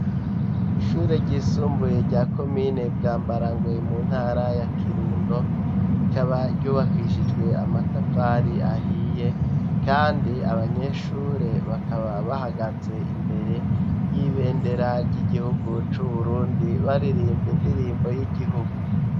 Ishure ry'isumbuye rya komine bwambarangwe mu ntara ya kirundo rikaba ryubakishijwe amatafari ahiye kandi abanyeshure bakaba bahagaze imbere y'ibendera ry'igihugu c'uburundi baririmba indirimbo y'igihugu.